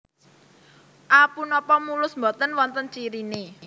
A Punapa mulus boten wonten ciriné